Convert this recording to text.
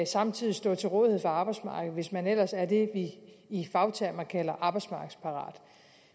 samtidig stå til rådighed for arbejdsmarkedet hvis man ellers er det vi i fagtermer kalder arbejdsmarkedsparat